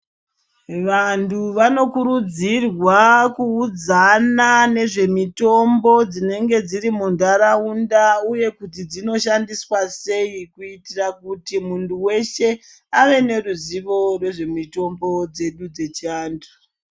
Vantu vanokurudzirwa kuudzana nezvemitombo dzinenge dziri muntaraunda uye kuti dzinoshandiswa sei kuitira kuti muntu weshe ave neruzivo rwezvemitombo dzedu dzechivantu.